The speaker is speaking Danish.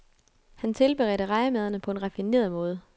Han tilberedte rejemadderne på en raffineret måde.